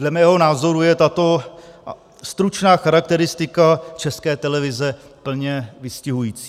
Dle mého názoru je tato stručná charakteristika České televize plně vystihující.